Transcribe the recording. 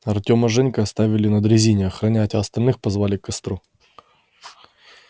артема с женькой оставили на дрезине охранять а остальных позвали к костру